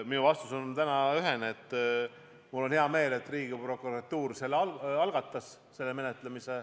Minu vastus on täna ühene: mul on hea meel, et Riigiprokuratuur menetluse algatas.